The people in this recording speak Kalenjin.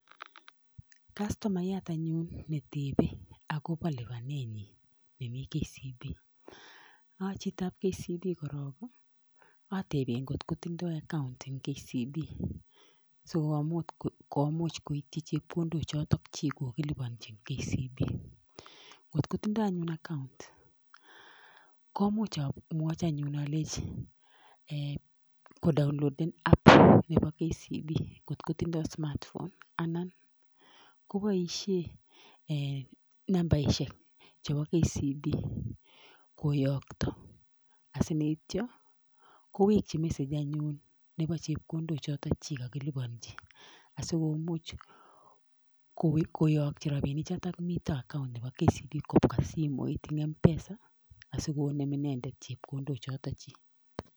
Kastomaiyat ne tepe ako pa lipanenyi en KCB korok, ateben kole kotindo account en KCB si komuch koitchi chepkondok chuta chi kogilipanchi e KCB.